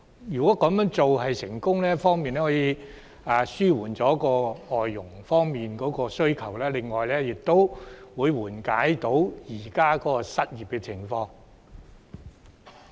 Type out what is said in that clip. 如果這方法取得成功，既可紓緩市民對外傭的需求，亦會緩解本港現時的失業情況。